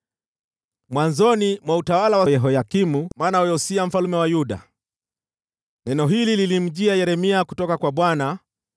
Mwanzoni mwa utawala wa Yehoyakimu mwana wa Yosia mfalme wa Yuda, neno hili lilimjia Yeremia kutoka kwa Bwana :